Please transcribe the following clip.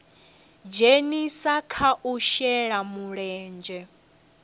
dzhenisa kha u shela mulenzhe